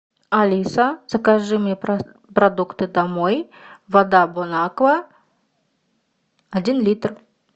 алиса закажи мне продукты домой вода бон аква один литр